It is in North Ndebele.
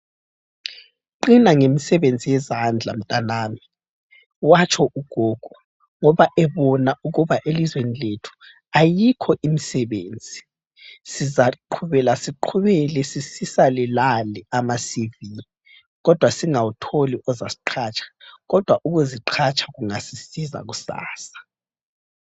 “Qina ngemisebenzi yezandla mntanami”, watsho ugogo ngoba ebona ukuba elizweni lethu ayikho imisebenzi. Sizaqhubela siqhubele sisisale lale amasivi kodwa singawutholi ozasiqhatsha kodwa ukuziqhatsha kungasisiza kusasa.